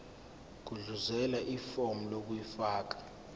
gudluzela ifomu lokufaka